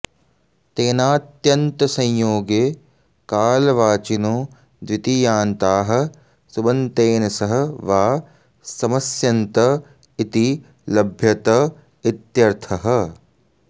तेनात्यन्तसंयोगे कालवाचिनो द्वितीयान्ताः सुबन्तेन सह वा समस्यन्त इति लभ्यत इत्यर्थः